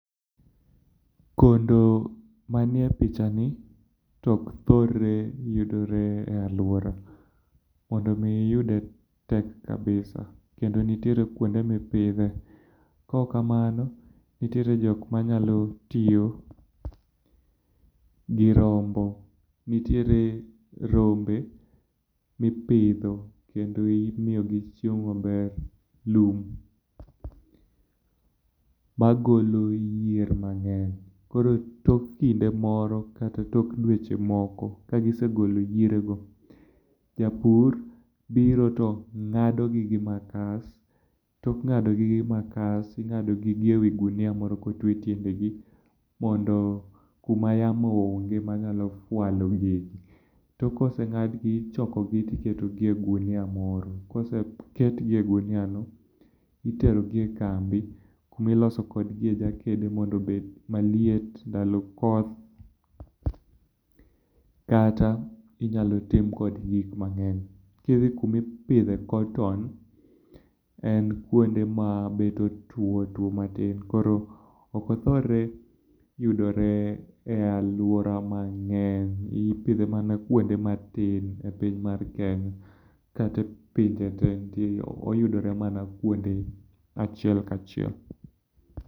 Kondo manie pichani to ok thorre yudore e aluora. Mondo mi iyude tek kabisa. Kendo nitiere kuonde mipidhe, kaok kamano nitiere jok manyalo tiyo gi rombo. Nitiere rombe mi poidho kendo imiyogi chiemo maber, lum. Magolo yier mng'eny. Tok kinde moko ka gisegolo yierego, to japur biro to ng'ado gi gi makas. Tok ng'adogi gi makas, ting'ado gi gi ewi gunia moro kotwe tiendgi mondo kuma yamo oonge manyalo walo gigi. Tok koseng'adgi, ichokogi to iketogi e ogunia moro. Koseketgi e oguniano, itero gi ekambi kuma iloso kodgi jakede mondo obed maliet ndalo koth, kata inyalo tim kodgi gik mang'eny. Kidhi kuma ipidhe koton, en kuonde ma bet otuo otuo matin koro ok othor yudore e aluora mang'eny. Ipidhe mana kuonde matin e piny mar Kenya, kata pinje te oyudore mana kuonde achiel kachiel.